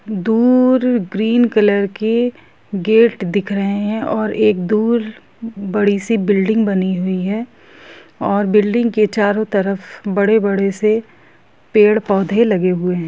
दूर green colour की gate दिख रहे हैंऔर एक दूर बड़ी सी बिल्डिंग बनी हुई है और बिल्डिंग के चारों तरफ बड़े-बड़े से पेड़ पौधे लगे हुए हैं।